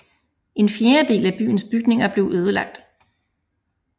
En fjerdedel af byens bygninger blev ødelagt